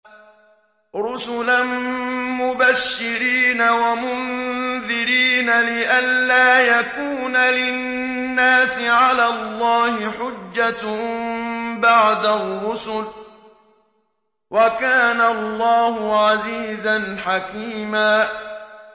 رُّسُلًا مُّبَشِّرِينَ وَمُنذِرِينَ لِئَلَّا يَكُونَ لِلنَّاسِ عَلَى اللَّهِ حُجَّةٌ بَعْدَ الرُّسُلِ ۚ وَكَانَ اللَّهُ عَزِيزًا حَكِيمًا